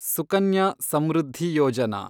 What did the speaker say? Sukanya Samriddhi Yojana